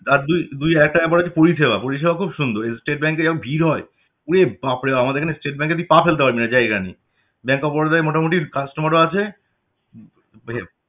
আর দুই দুই আরেকটা হলো পরিষেবা পরিষেবা খুব সুন্দর State Bank এ যেমন ভিড় হয় ওরে বাপরে বাপ আমাদের এখানে State Bank এ তুই পা ফেলতে পারবি না জায়গা নেই Bank of Baroda য় মোটামুটি customer ও আছে